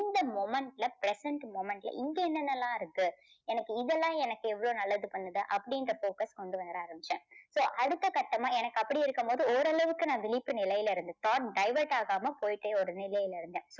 இந்த moment ல present moment ல இங்க என்னென்ன எல்லாம் இருக்கு எனக்கு இதெல்லாம் எனக்கு எவ்வளவு நல்லது பண்ணுது அப்படீன்ற போக்கை கொண்டு வர ஆரம்பிச்சேன். so அடுத்த கட்டமா எனக்கு அப்படி இருக்கும்போது ஓரளவுக்கு நான் விழிப்பு நிலையில இருந்தேன் thought divert ஆகாம போயிட்டே ஒரு நிலையில இருந்தேன்.